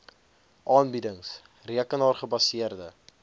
aanbiedings rekenaar gebaseerde